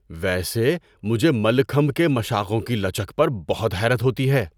ویسے، مجھے ملکھمب کے مشاقوں کی لچک پر بہت حیرت ہوتی ہے!